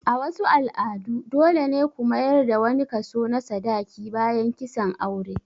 A wasu al'adu dole ne ku mayar da wani kaso na sadaki bayan kisan aure.